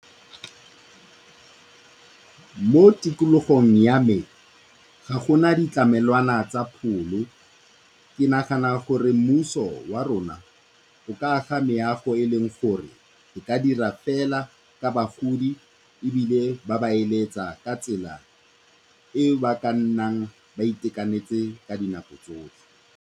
Mo tikologong ya me ga go na ditlamelwana tsa pholo, ke nagana gore mmuso wa rona o ka aga meago e eleng gore e ka dira fela ka bagodi ebile ba ba eletsa ka tsela e ba ka nnang ba itekanetse ka dinako tsotlhe.